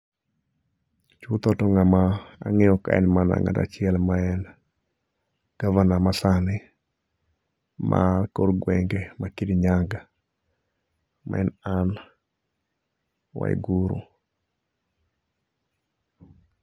Chutho to ng'ama ang'eyo kae en mana ng'ato achiel ma en Gavana masani makor gwenge ma kirin yaga ma en Ann Waiguru.